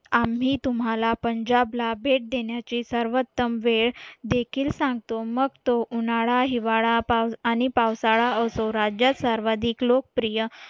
आम्ही तुम्हाला पंजाबला भेट देण्याची सर्वोत्तम वेळ देखील सांगतो मग तो उन्हाळा हिवाळा आणि पावसाळा असो राज्यात सर्वाधिक लोकप्रिय